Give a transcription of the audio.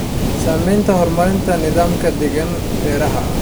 Saamaynta horumarinta nidaamka deegaanka beeraha.